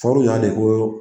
Fɔru y'an de ko